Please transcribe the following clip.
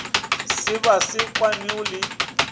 se ba sa kwanego le